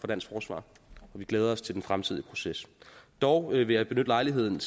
dansk forsvar og vi glæder os til den fremtidige proces dog vil jeg benytte lejligheden